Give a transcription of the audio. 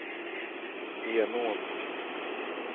Henån